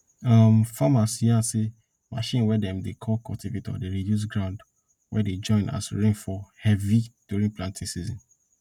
um farmers yarn say machine wey dem dey call cultivator dey reduce ground wey dey join as rain fall heavy during planting season